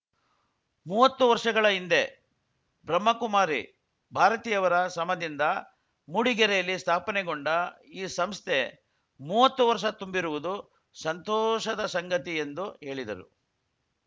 ಮುವತ್ತು ವರ್ಷಗಳ ಹಿಂದೆ ಬ್ರಹ್ಮಕುಮಾರಿ ಭಾರತಿಯವರ ಸ್ರಮದಿಂದ ಮೂಡಿಗೆರೆಯಲ್ಲಿ ಸ್ಥಾಪನೆಗೊಂಡ ಈ ಸಂಸ್ಥೆ ಮುವತ್ತು ವರ್ಷ ತುಂಬಿರುವುದು ಸಂತೋಷದ ಸಂಗತಿ ಎಂದು ಹೇಳಿದರು